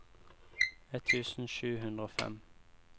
ett tusen sju hundre og fem